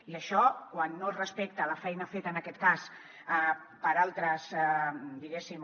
i això quan no es respecta la feina feta en aquest cas per altres diguéssim